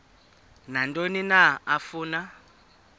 nantoni na afuna